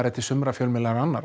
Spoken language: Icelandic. til sumra fjölmiðla en annarra